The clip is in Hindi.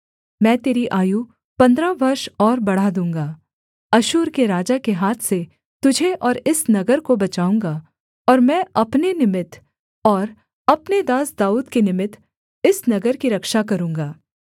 मैं तेरी आयु पन्द्रह वर्ष और बढ़ा दूँगा अश्शूर के राजा के हाथ से तुझे और इस नगर को बचाऊँगा और मैं अपने निमित्त और अपने दास दाऊद के निमित्त इस नगर की रक्षा करूँगा